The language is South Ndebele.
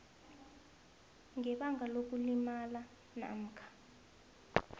ngebanga lokulimala namkha